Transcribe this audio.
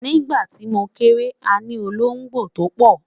nígbà ti mo kere, àní ológbò to pò